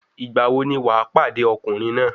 Ìgbà wo ni wà pàdé ọkùnrin náà?